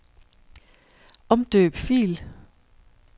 Omdøb fil.